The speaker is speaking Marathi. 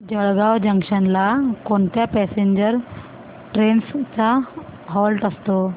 जळगाव जंक्शन ला कोणत्या पॅसेंजर ट्रेन्स चा हॉल्ट असतो